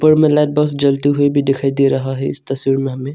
ऊपर में लाइट बस जलती हुई भी दिखाई दे रहा है इस तस्वीर में हमें।